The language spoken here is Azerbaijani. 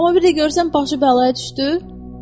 Amma bir də görürsən başı bəlaya düşdü.